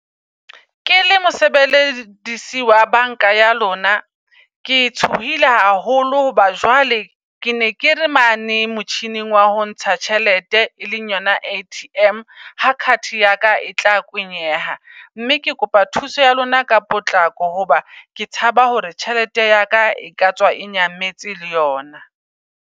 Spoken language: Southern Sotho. Ke le mosebeledisi wa bank-a ya lona, ke tshohile haholo. Hoba jwale ke ne ke le mane motjhining wa ho ntsha tjhelete, e leng yona A_T_M ha card yaka e tla kwenyeha. Mme ke kopa thuso ya lona ka potlako, hoba ke tshaba hore tjhelete yaka e katswa e nyametse le yona.